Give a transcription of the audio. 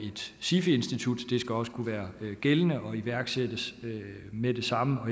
et sifi institut også kunne være gældende og iværksættes med det samme